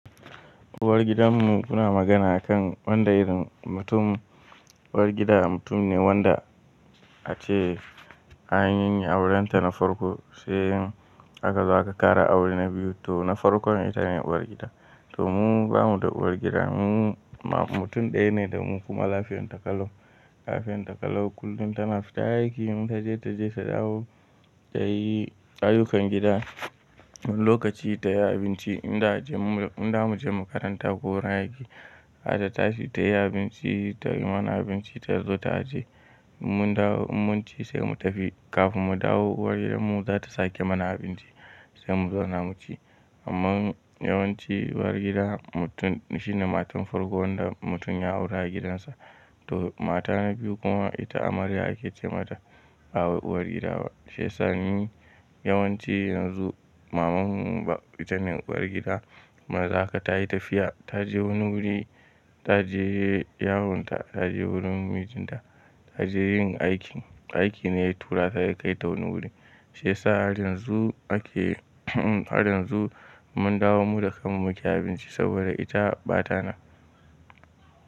Uwar gidanmu muna magana a kan wanda irin mutum. Uwar gida mutum ne wanda a ce an anyi aure ta na farko, sai in aka za ka kara aure na biyu to na farko ita ne uwar gida. To mu bamuda uwar gida, mu mutum ɗaya ne da mu kuma lafiyan ta kalau. Lafiyan ta kalau kullum tana fita aiki, mun taje ta je ta dawo tayi ayyukan gida. Lokaci tayi abinci inda muja, inda muje makaranta ko wurin aiki. Zata tashi tayi abinci, tayi mana abinci, ta zo ta aje. In mun dawo, in munci sai mu tafi. Kafin mu dawo uwar gidanmu za ta sake mana abinci sai mu zauna mu ci. Amman yawanci uwar gida mutum shine matar farko wanda mutum ya aura gidan sa. To mata na biyu kuma ita amarya ake ce mata ba uwar gida ba. Shiyasa ni yawanci yanzu maman mu ba ita ce uwar gida. Kuma yanzu haka tayi tafiya, ta je wani wuri, ta je yawon ta, ta je wurin mijin ta, ta je yin aikin, aikin ne ya tura ta ya kai ta wani wuri. Sai sa har yanzu ake har yanzu mun dawo mu da kan mu muke abinci saboda ita bata nan.